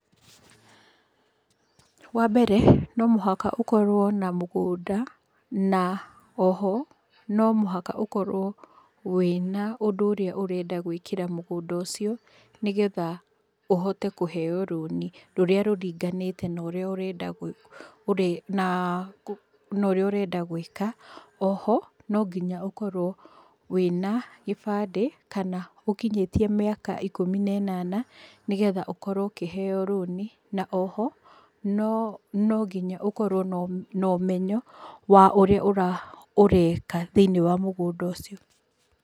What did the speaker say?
Wa mbere, no muhaka ũkorwo na mũgũnda na o ho no mũhaka ũkorwo wĩna ũndũ ũrĩa ũrenda gwĩkĩra mũgũnda ũcio, nĩgetha ũhote kũheyo rũni rũrĩa rũringanĩte na ũrĩa ũrenda gwĩka. O ho no nginya ũkorwo wĩ na gĩbandĩ kana ũkinyĩtie mĩaka ikũmi na ĩnana, nĩgetha ũkorwo ũkĩheyo rũni, na o ho no nginya ũkorwo na ũmenyo wa ũria ũreka thĩiniĩ wa mũgũnda ũcio.